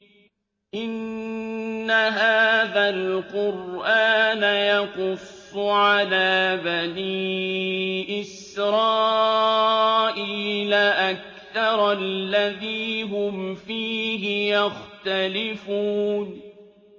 إِنَّ هَٰذَا الْقُرْآنَ يَقُصُّ عَلَىٰ بَنِي إِسْرَائِيلَ أَكْثَرَ الَّذِي هُمْ فِيهِ يَخْتَلِفُونَ